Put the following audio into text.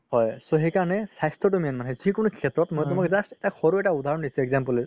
হয় হয় সেইকাৰণে স্বাস্থ্যতো main যিকোনো শেত্ৰত মই just সৰু এটা উদাহৰণ দিছো example